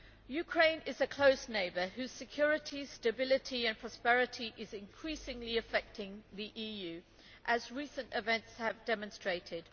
Ukraine is a close neighbour whose security, stability and prosperity are increasingly affecting the EU, as recent events have demonstrated.